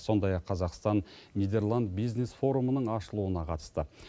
сондай ақ қазақстан нидерланд бизнес форумының ашылуына қатысты